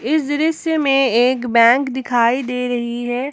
इस दृश्य में एक बैंक दिखाई दे रही है।